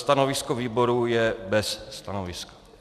Stanovisko výboru je bez stanoviska.